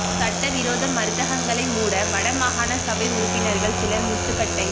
சட்டவிரோத மருந்தகங்களை மூட வட மாகாண சபை உறுப்பினர்கள் சிலர் முட்டுக்கட்டை